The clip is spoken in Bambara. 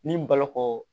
Ni baloko